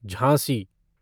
Jhansi